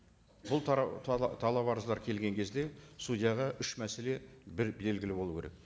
бұл талап арыздар келген кезде судьяға үш мәселе бір белгілі болу керек